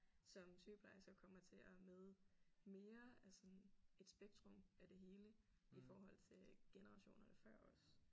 Som sygeplejersker kommer til at møde mere af sådan et spektrum af det hele i forhold til generationerne før os